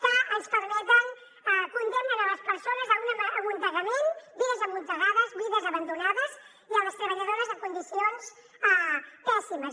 que ens condemnen a les persones a un amuntegament vides amuntegades vides abandonades i a les treballadores en condicions pèssimes